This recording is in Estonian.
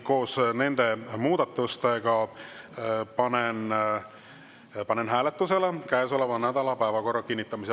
Koos nende muudatustega panen hääletusele käesoleva nädala päevakorra kinnitamise.